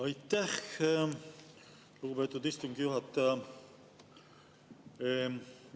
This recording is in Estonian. Aitäh, lugupeetud istungi juhataja!